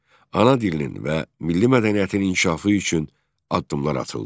Ana dilinin və milli mədəniyyətin inkişafı üçün addımlar atıldı.